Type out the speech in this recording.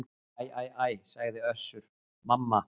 Æ æ æ, sagði Össur-Mamma.